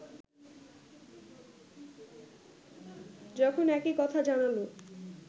যখন একই কথা জানাল